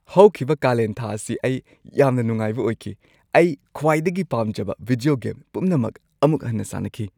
ꯍꯧꯈꯤꯕ ꯀꯥꯂꯦꯟ ꯊꯥ ꯑꯁꯤ ꯑꯩ ꯌꯥꯝꯅ ꯅꯨꯡꯉꯥꯏꯕ ꯑꯣꯏꯈꯤ꯫ ꯑꯩ ꯈ꯭ꯋꯥꯏꯗꯒꯤ ꯄꯥꯝꯖꯕ ꯚꯤꯗꯤꯑꯣ ꯒꯦꯝ ꯄꯨꯝꯅꯃꯛ ꯑꯃꯨꯛ ꯍꯟꯅ ꯁꯥꯟꯅꯈꯤ꯫